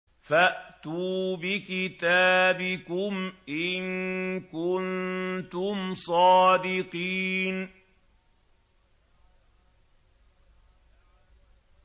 فَأْتُوا بِكِتَابِكُمْ إِن كُنتُمْ صَادِقِينَ